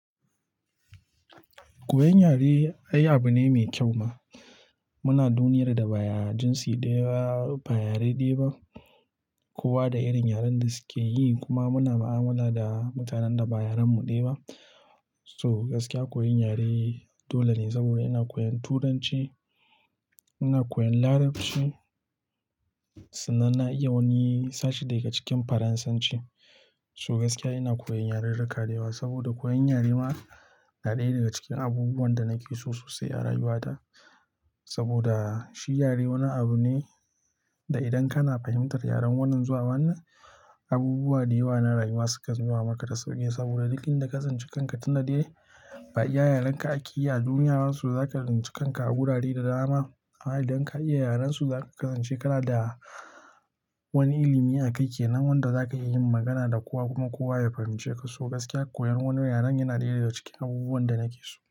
Koyan yare ai abune mai kyau ma. Muna duniyar da ba jinsi ɗaya ba, ba yare ɗaya ba, kowa da irin yaren da suke yi kuma muna mu'amala da mutanen da ba yaren mu ɗaya ba. To gaskiya koyan yare, dole ne saboda ina koyan Turanci, ina koyan Larabci, sannan na iya wani sashi dayake cikin Faransanci. To gaskiya ina koyan yarirrika da yawa saboda koyan yare ma, na ɗaya daga cikin abubuwan da nake so sosai a rayuwata. Saboda, shi yare wani abune da idan kana fahimtar yaren wannan zuwa wannan, abubuwa dayawa na rayuwa sukan zuwa maka da sauki, saboda duk inda ka tsinci kanka tunda dai ba iya yarenka akeyi a duniya ba, to zaka tsinci kanka a wurare da dama amma idan ka iya yarensu zaka kasance kanada wani ilimi akai kenan wanda zaka iya yin magana da kowa kuma kowa ya fahimceka to gaskiya koyan wani yaren yana ɗaya daga cikin abubuwan da nake so.